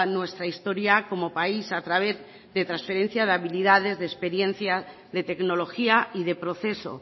nuestra historia como país a través de transferencia de habilidades de experiencia de tecnología y de proceso